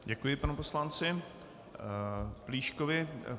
Děkuji panu poslanci Plíškovi.